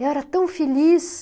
Eu era tão feliz.